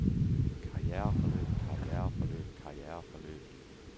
karriereforløb karriereforløb karriereforløb